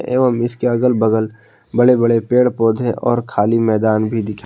एवं इसके अगल बगल बड़े बड़े पेड़ पौधे और खाली मैदान भी दी--